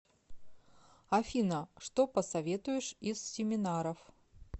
афина что посоветуешь из семинаров